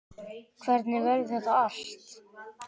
Hvernig verður þetta allt?